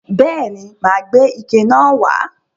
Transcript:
Bẹ́ẹ̀ ni, mà á gbé ike náà wà á.